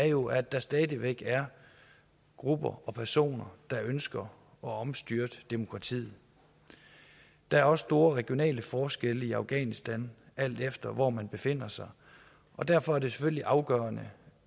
jo er at der stadig væk er grupper og personer der ønsker at omstyrte demokratiet der er også store regionale forskelle i afghanistan alt efter hvor man befinder sig og derfor er det selvfølgelig afgørende